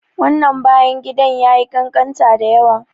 Wannan bayan gidan yayi ƙanƙanta dayawa.